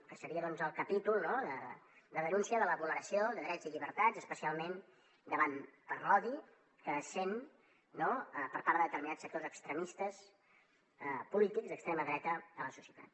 que seria doncs el capítol de denúncia de la vulneració de drets i llibertats especialment per l’odi que es sent no per part de determinats sectors extremistes polítics d’extrema dreta a la societat